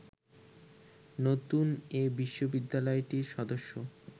নতুন এ বিশ্ববিদ্যালয়টির সদস্য